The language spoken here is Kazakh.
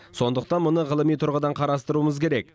сондықтан мұны ғылыми тұрғыдан қарастыруымыз керек